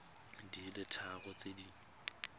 di le tharo tse di